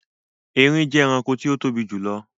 Ẹrìn jẹ ẹ̀ràṇkò tí o tobi jùlọ̀.